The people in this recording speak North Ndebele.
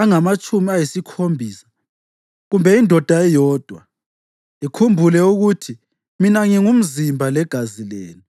angamatshumi ayisikhombisa kumbe indoda eyodwa?’ Likhumbule ukuthi mina ngingumzimba legazi lenu.”